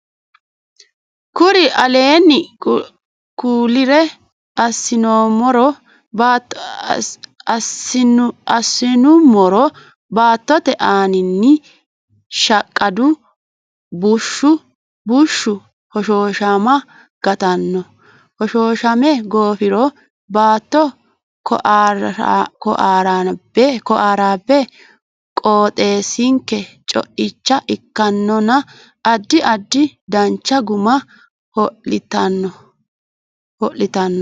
Kuri aleenni kullire assinummoro Baattote aaninni shaqqadu bushshi bushshu hoshooshama gattanno hoshooshame goofiro baatto kooaaraabbe qooxeessinke co icha ikkannonna addi addi dancha guma ho litanno.